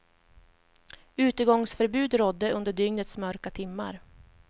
Utegångsförbud rådde under dygnets mörka timmar.